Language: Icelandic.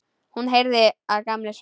Hún heyrði að Gamli svaf.